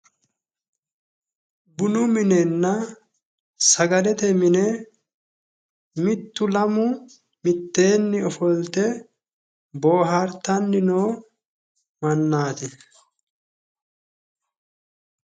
Bunu minenna sagalete mine mittu lamu mitteenni ofolte boohaartanni noo mannaati.